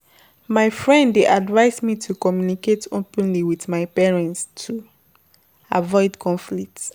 My friend dey advise me to communicate openly with my parent to avoid conflict.